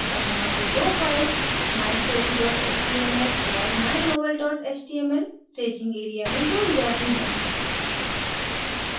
अतः वो दो files mystory html और mynovel html staging area में जोड़ी जाती हैं